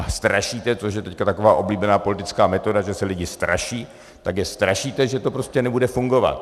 A strašíte, což je teď taková oblíbená politická metoda, že se lidi straší, tak je strašíte, že to prostě nebude fungovat.